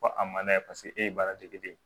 Ko a man n'a ye paseke e ye baara dege de ye